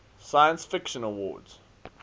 science fiction awards